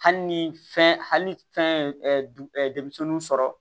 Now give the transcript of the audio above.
Hali ni fɛn hali fɛn ye denmisɛnninw sɔrɔ